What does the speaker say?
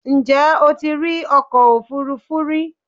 Ǹjẹ́ o ti rí ọkọ òfúrufú rí?